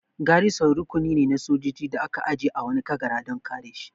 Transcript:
Garison rukuni ne na sojoji da aka aje a wani kagara dan kare shi